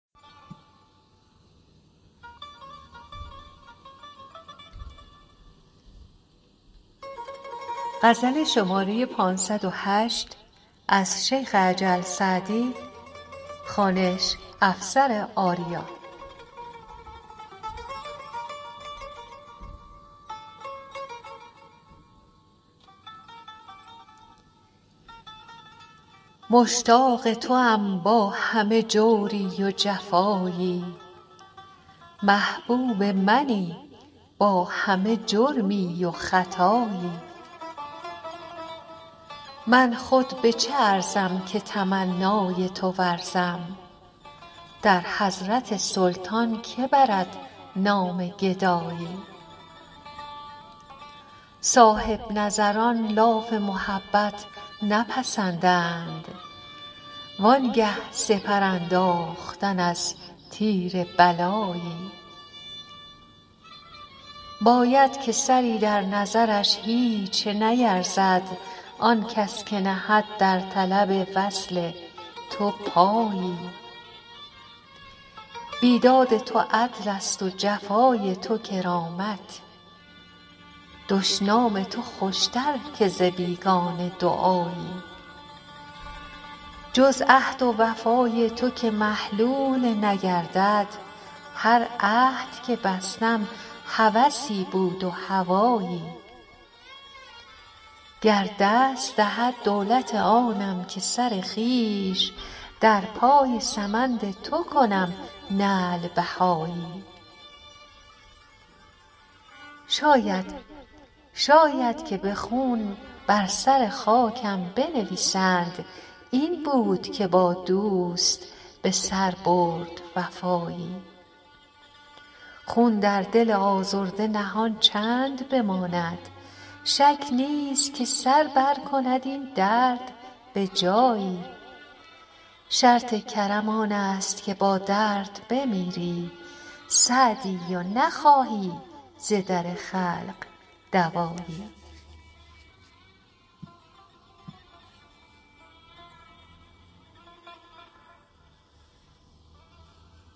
مشتاق توام با همه جوری و جفایی محبوب منی با همه جرمی و خطایی من خود به چه ارزم که تمنای تو ورزم در حضرت سلطان که برد نام گدایی صاحب نظران لاف محبت نپسندند وان گه سپر انداختن از تیر بلایی باید که سری در نظرش هیچ نیرزد آن کس که نهد در طلب وصل تو پایی بیداد تو عدلست و جفای تو کرامت دشنام تو خوشتر که ز بیگانه دعایی جز عهد و وفای تو که محلول نگردد هر عهد که بستم هوسی بود و هوایی گر دست دهد دولت آنم که سر خویش در پای سمند تو کنم نعل بهایی شاید که به خون بر سر خاکم بنویسند این بود که با دوست به سر برد وفایی خون در دل آزرده نهان چند بماند شک نیست که سر برکند این درد به جایی شرط کرم آنست که با درد بمیری سعدی و نخواهی ز در خلق دوایی